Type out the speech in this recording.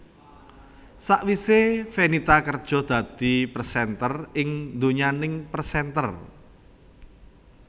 Sawisé Fenita kerja dadi presenter ing donyaning presenter